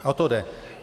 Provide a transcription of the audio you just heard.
A o to jde.